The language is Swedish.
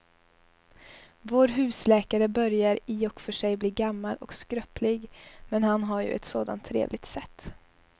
Vår husläkare börjar i och för sig bli gammal och skröplig, men han har ju ett sådant trevligt sätt!